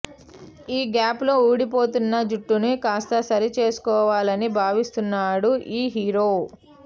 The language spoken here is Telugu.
ఈ గ్యాప్ లో ఊడిపోతున్న జుట్టును కాస్త సరిచేసుకోవాలని భావిస్తున్నాడు ఈ హీరో